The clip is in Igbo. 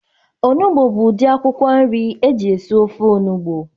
Onugbu bu udi akwụkwọ nri eji esi ofe onugbu